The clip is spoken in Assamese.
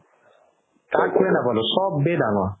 কাকোয়ে নাপালো চবে ডাঙৰ